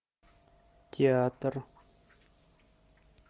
театр